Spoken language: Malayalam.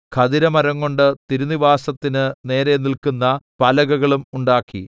ഖദിരമരംകൊണ്ട് തിരുനിവാസത്തിന് നേരെ നില്ക്കുന്ന പലകകളും ഉണ്ടാക്കി